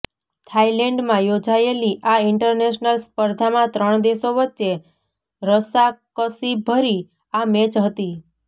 થાઈલેન્ડમાં યોજાયેલી આ ઇન્ટરનેશલ સ્પર્ધામા ત્રણ દેશો વચ્ચે રસાકસીભરી આ મેચ હતી